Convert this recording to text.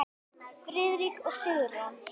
Friðrik og Sigrún.